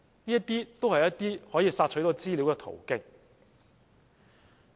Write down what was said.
這些都是可以索取資料的途徑。